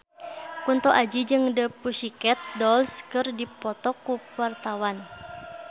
Kunto Aji jeung The Pussycat Dolls keur dipoto ku wartawan